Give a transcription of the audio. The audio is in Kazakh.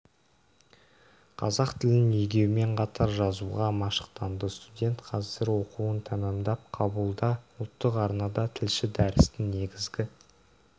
қазақ тілін игеумен қатар жазуға машықтанды студент қазір оқуын тәмамдап кабулда ұлттық арнада тілші дәрістің негізгі